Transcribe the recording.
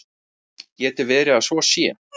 Getur verið að svo sé?